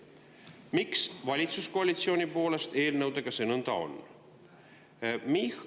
Miks see valitsuskoalitsiooni pärast eelnõudega nõnda on?